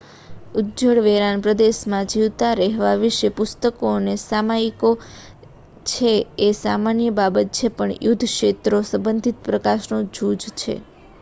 ઉજ્જડ વેરાન પ્રદેશમાં જીવતા રહેવા વિશે પુસ્તકો અને સામયિકો છે એ સામાન્ય બાબત છે પણ યુદ્ધ ક્ષેત્રો સંબંધિત પ્રકાશનો જૂજ છે